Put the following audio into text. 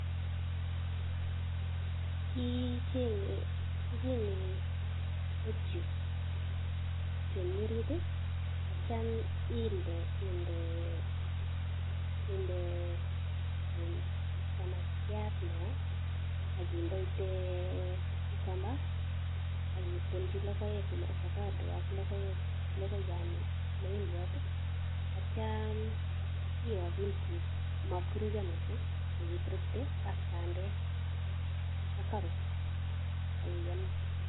Kicheng'e lettuce chomi orit aitya inde samakiat neo akindeite cucumber akitonji logoek ak moindiot ak avocado aitya iyo pinsik motkoruryo missing akiburukte ak bandek ak carrots akiyam.